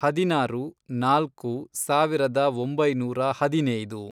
ಹದಿನಾರು, ನಾಲ್ಕು, ಸಾವಿರದ ಒಂಬೈನೂರ ಹದಿನೈದು